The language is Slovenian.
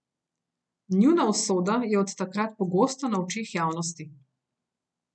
Njuna usoda je od takrat pogosto na očeh javnosti.